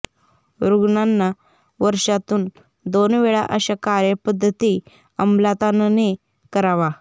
रुग्णांना वर्षातून दोन वेळा अशा कार्यपद्धती अमलात आणणे करावा